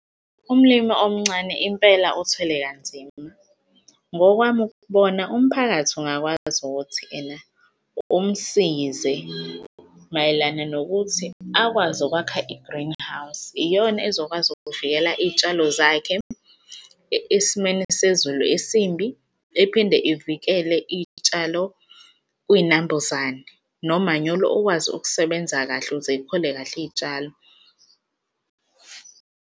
Umlimi omncane impela othwele kanzima. Ngokwami ukubona umphakathi ungakwazi ukuthi ena umsize mayelana nokuthi akwazi ukwakha i-greenhouse iyona ezokwazi ukuvikela iy'tshalo zakhe esimeni sezulu esimbi ephinde ivikele iy'tshalo kwinambuzane nomanyolo ukwazi ukusebenza kahle ukuze y'khule kahle iy'tshalo.